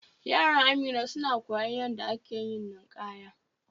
Yaran Amina suna koyon yanda da ake ninkanya.